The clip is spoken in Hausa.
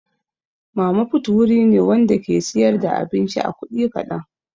Mama fut wuri ne Wanda ke siyar da abinci a kudi kadan.